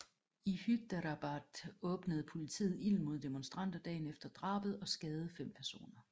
I Hyderabad åbnede politiet ild mod demonstranter dagen efter drabet og skadede fem personer